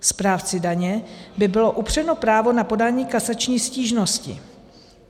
Správci daně by bylo upřeno právo na podání kasační stížnosti.